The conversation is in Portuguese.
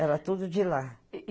Era tudo de lá.